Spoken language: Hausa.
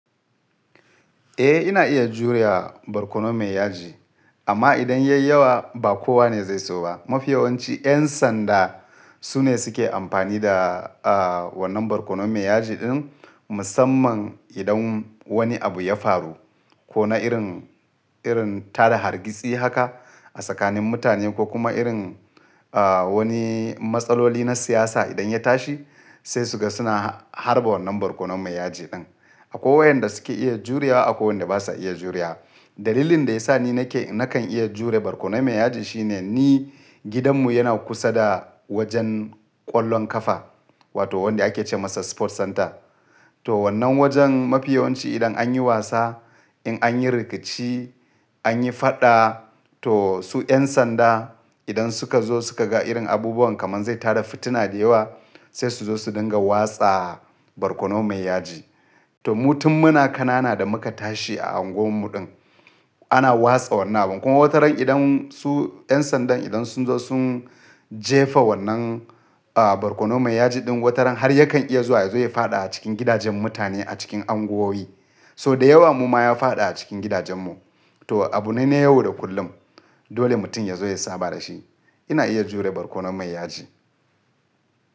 Eh, ina iya juriya barkono mai yaji, amma idan yai yawa ba kowa ne zai so ba. Mafi yawanci 'yan sanda su ne suke amfani da, ah, wannan barkono mai yaji din musamman idan wani abu ya faru ko na irin, irin tada hargitsi haka a tsakanin mutane ko kuma irin, ah, wani matsaloli na siyasa idan ya tashi sai su ga suna harba wannan barkono mai yaji din. Akwai wayanda suke iya juriya akwai wanda basa iya juriya. Dalilin da ya sa ni nake, nakan iya jure barkono mai yaji shine ni gidanmu yana kusa da wajen ƙwallon ƙafa wato wanda ake ce masa Sport Center. To wannan wajen mafi yawanci idan an yi wasa, in an yi rikici, an yi faɗa to su 'yan sanda idan suka zo suka ga irin abubuwan kamar zai tada fitina da yawa sai su zo su dinga watsa barkono mai yaji. To, mutum muna kanana da muka tashi a anguwan mu din ana watsa wannan abu. Kuma wataran idan su 'yan sanda idan sun zo sun jefa wannan, ah, barkono mai yaji din wataran har yakan iya zuwa ya zo ya faɗa a cikin gidajen mutane a cikin anguwoyi. So da yawa mu ma ya faɗa a cikin gidajenmu. To, abu na ne yau da kullum dole mutum ya zo ya saba da shi. Ina iya jure barkono mai yaji.